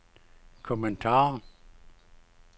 kommentar